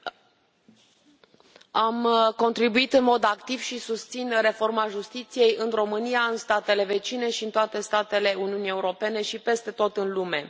Doamnă președintă, am contribuit în mod activ și susțin reforma justiției în România, în statele vecine și în toate statele Uniunii Europene și peste tot în lume.